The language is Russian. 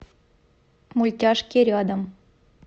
мультяшки рядом